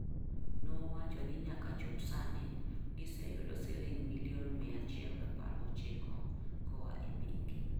Nowacho ni nyaka chop sani, giseyudo siling' milion 119 koa e bengi.